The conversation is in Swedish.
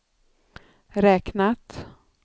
räknat